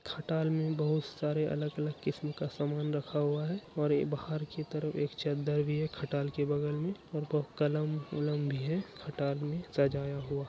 खटाल में बहुत सारे अलग-अलग किस्म का सामान रखा हुआ है और ये बाहर की तरफ एक चद्दर भी है खटाल के बगल में और कलम उलम भी है खटाल में सजाया हुआ।